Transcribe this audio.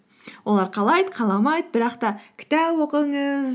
олар қалайды қаламайды бірақ та кітап оқыңыз